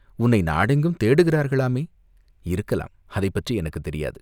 உன்னை நாடெங்கும் தேடுகிறார்களாமே?" "இருக்கலாம், அதைப்பற்றி எனக்குத் தெரியாது".